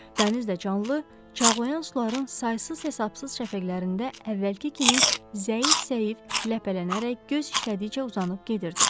Dəniz də canlı, çağlayan suların saysız-hesabsız şəfəqlərində əvvəlki kimi zəif-zəif ləpələnərək göz işlədikcə uzanıb gedirdi.